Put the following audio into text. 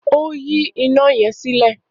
O yi ina yẹn sílẹ.